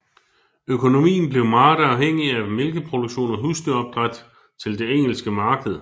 Økonomien blev meget afhængig af mælkeproduktion og husdyrsopdræt til det engelske marked